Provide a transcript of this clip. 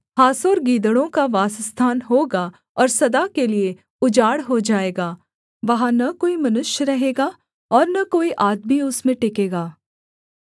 हासोर गीदड़ों का वासस्थान होगा और सदा के लिये उजाड़ हो जाएगा वहाँ न कोई मनुष्य रहेगा और न कोई आदमी उसमें टिकेगा